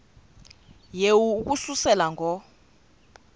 yehu ukususela ngo